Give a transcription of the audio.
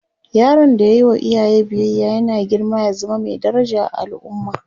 yaron da ya Yi wa iyaye biyaya yana girma ya zama Mai daraja a al'umma